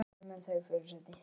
Bara ég hefði byrjað fyrr!